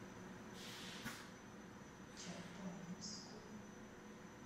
чапаевску